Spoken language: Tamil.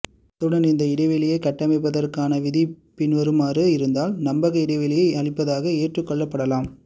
அத்துடன் இந்த இடைவெளியைக் கட்டமைப்பதற்கான விதி பின்வருமாறு இருந்தால் நம்பக இடைவெளியை அளிப்பதாக ஏற்றுக்கொள்ளப்படலாம்